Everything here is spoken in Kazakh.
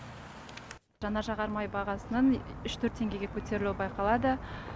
жанар жағармай бағасының үш төрт теңгеге көтерілуі байқалады